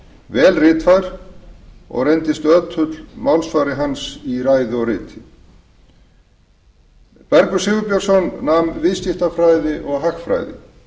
vel ritfær og reyndist ötull málsvari hans í ræðu og riti bergur sigurbjörnsson nam viðskiptafræði og hagfræði